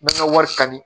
Mɛ ka wari ta ni